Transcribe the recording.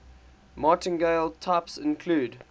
martingale types include